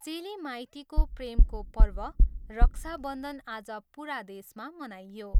चेली माइतीको प्रेमको पर्व, रक्षा बन्धन आज पुरा देशमा मनाइयो।